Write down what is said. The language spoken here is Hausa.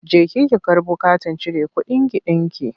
Jeki ki karbo katin cire kuɗinki ɗinki!